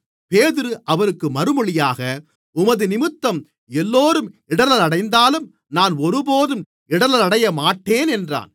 பேதுரு அவருக்கு மறுமொழியாக உமதுநிமித்தம் எல்லோரும் இடறலடைந்தாலும் நான் ஒருபோதும் இடறலடையமாட்டேன் என்றான்